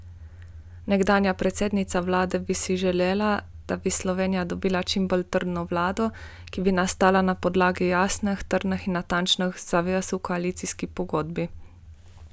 Nekdanja predsednica vlade bi si želela, da bi Slovenija dobila čimbolj trdno vlado, ki bi nastala na podlagi jasnih, trdnih in natančnih zavez v koalicijski pogodbi.